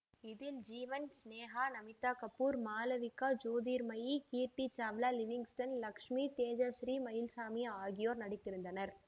இதில் ஜீவன் சினேகா நமிதா கபூர் மாளவிகா ஜோதிர்மயி கீர்த்தி சாவ்லா லிவிங்ஸ்டன் இலட்சுமி தேஜாசீறி மயில்சாமி ஆகியோர் நடித்திருந்தனர்